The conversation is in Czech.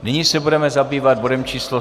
Nyní se budeme zabývat bodem číslo